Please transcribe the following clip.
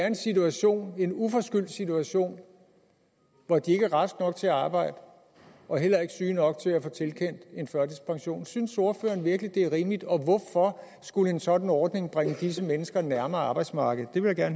en situation en uforskyldt situation hvor de ikke er raske nok til at arbejde og heller ikke syge nok til at få tilkendt en førtidspension synes ordføreren virkelig at det er rimeligt og hvorfor skulle en sådan ordning bringe disse mennesker nærmere arbejdsmarkedet det vil jeg